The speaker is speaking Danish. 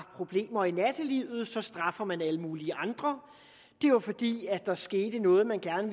problemer i nattelivet og så straffer man alle mulige andre det var fordi der skete noget man gerne